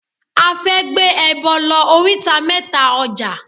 A fẹ́ gbé ẹbọ lọ oríta mẹ́ta ọjà.